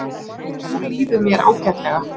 Og nú líður mér ágætlega.